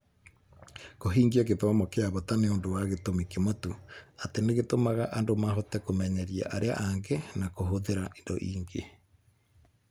Kũhingia gĩthomo kĩa bata nĩ ũndũ wa gĩtũmi kĩmwe tu atĩ nĩ gĩtũmaga andũ mahote kũmenyeria arĩa angĩ na kũhũthĩra indo ingĩ.